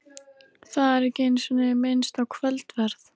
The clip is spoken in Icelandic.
Það er ekki einu sinni minnst á kvöldverð.